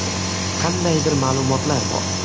Qandaydir ma’lumotlar bor.